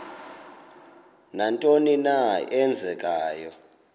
nantoni na eenzekayo